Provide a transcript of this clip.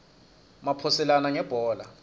maphoselana ngebhola